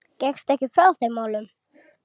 Gekkstu ekki frá þeim málum?